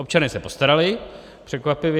Občané se postarali, překvapivě.